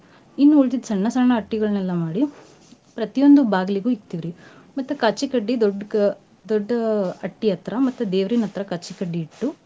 ಇನ್ ಉಳದಿದ್ ಸಣ್ಣ ಸಣ್ಣ ಅಟ್ಟಿ ಗಳ್ನೆಲ್ಲ ಮಾಡಿ ಪ್ರತಿಯೊಂದ್ ಬಗ್ಲಗೂ ಇಡ್ತಿವ್ ರಿ ಮತ್ತ ಕಾಚಿ ಕಡ್ಡಿ ದೊಡ್ಡಕ~ ದೊಡ್ಡ ಅಟ್ಟಿ ಹತ್ರಾ ಮತ್ತ್ ದೇವ್ರಿನ ಹತ್ರ ಕಾಚಿ ಕಡ್ಡಿ ಇಟ್ಟು .